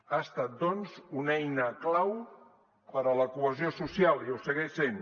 ha estat doncs una eina clau per a la cohesió social i ho segueix sent